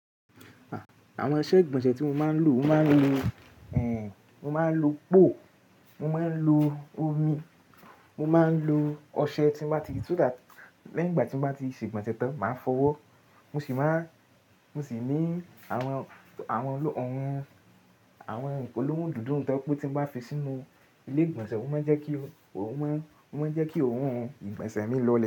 Àwọn iṣẹ ìgbọ̀nsẹ̀ tí mo máa ń lò, mo máa ń lo, eh, mo máa ń lo poo, mo máa ń lo omi, mo máa ń lo ọṣẹ tí mo bá ti, so that lẹ́yìn ìgbà tí mo bá ti ṣe ìgbọ̀nsẹ̀ tán, màá fọwọ́. Mo sì máa, mo sì ní àwọn, àwọn, àwọn ìpolówó dúdú tó pé tí mo bá fi sínú ilé ìgbọ̀nsẹ̀, ó máa ń jẹ́ kí ó, ó máa ń, ó máa ń jẹ́ kí òún ìgbọ̀nsẹ̀ mi lọlẹ̀